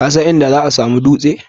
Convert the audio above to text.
Kasan inda za'a samu dutse?